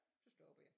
Så stoppede jeg